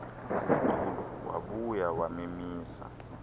situlo wabuya wamemisa